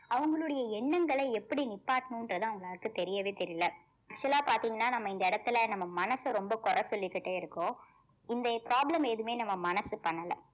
அவங்களுடைய எண்ணங்களை எப்படி நிப்பாட்டணும்ன்றது அவங்க எல்லாருக்கு தெரியவே தெரியல actual ஆ பாத்தீங்கன்னா நம்ம இந்த இடத்திலே நம்ம மனச ரொம்ப குறை சொல்லிக்கிட்டே இருக்கோம் இந்த problem எதுவுமே நம்ம மனசு பண்ணல